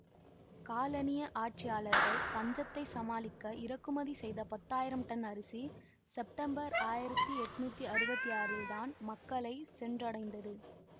காலனிய ஆட்சியாளர்கள் பஞ்சத்தை சமாளிக்க இறக்குமதி செய்த பத்தாயிரம் டன் அரிசி செப்டம்பர் ஆயிரத்தி எட்ணூற்றி அறுபத்தி ஆறில் தான் மக்களை சென்றடைந்தது